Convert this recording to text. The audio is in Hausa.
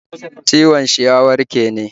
ciwon shi ya warke ne?